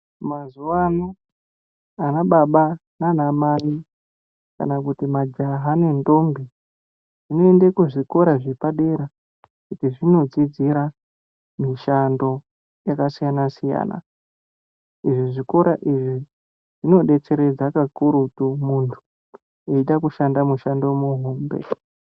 Mazuwano, ana baba nanamai kana kuti majaha nendombi zvinoende kuzvikora zvepadera kuti zvinodzidzira mishando yakasiyana siyana. Izvi zvikora izvi zvinodetseredza kakurutu muntu uchida kushanda mushando muhombe.